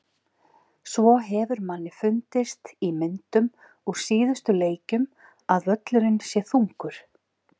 Svo hefur manni fundist í myndum úr síðustu leikjum að völlurinn sé þungur.